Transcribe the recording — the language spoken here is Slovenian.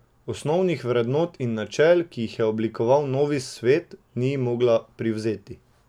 Osnovnih vrednot in načel, ki jih je oblikoval novi svet, ni mogla privzeti.